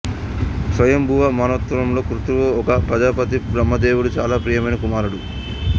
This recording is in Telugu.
స్వాయంభువ మన్వంతరంలో క్రతువు ఒక ప్రజాపతి బ్రహ్మ దేవుడుకు చాలా ప్రియమైన కుమారుడు